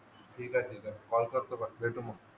ठीक आहे ठीक आहे कॉल करतो बसला की मग